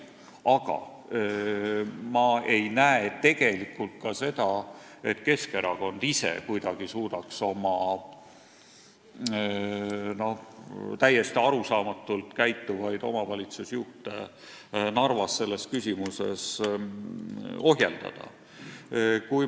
Aga ma ei näe tegelikult ka seda, et Keskerakond ise kuidagi suudaks oma täiesti arusaamatult käituvaid Narva omavalitsusjuhte selles küsimuses ohjeldada.